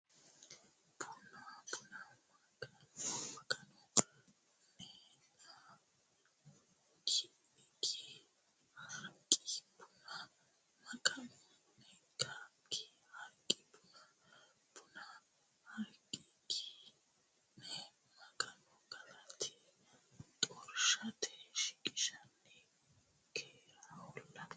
Buna Maganu nenna Ki Harqi Buna Maganu nenna Ki Harqi Buna Buna Harqi Ki nenna Maganu galata xorshite shiqishshanni keereholla !